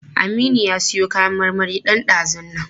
Aminu ya siyo kayan marmari ɗan ɗazun nan.